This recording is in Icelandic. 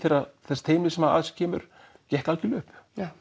þess teymis sem að þessu kemur gekk algjörlega upp